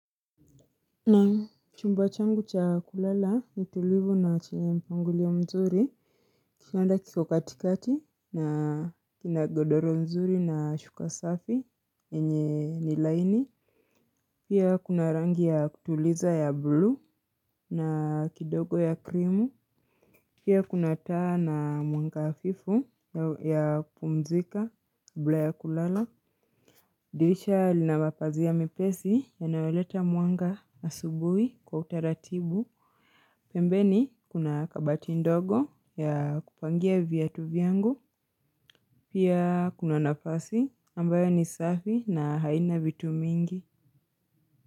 Naam chumba changu cha kulala ni tulivu na chenye mpangilio mzuri. Kitanda kiko katikati na kina godoro nzuri na shuka safi yenye ni laini. Pia kuna rangi ya kutuliza ya blue na kidogo ya krimu. Pia kuna taa na mwanga hafifu ya kupumzika kabla ya kulala. Dirisha lina mapazia mepesi yanayoleta mwanga asubuhi kwa utaratibu. Pembeni kuna kabati ndogo ya kupangia viatu vyangu. Pia kuna nafasi ambayo ni safi na haina vitu mingi.